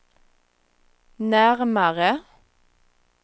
närmare